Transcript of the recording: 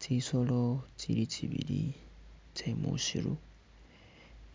Tsisolo tsili tsibili tsye musiiru